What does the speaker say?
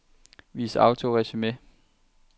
Vis autoresumé.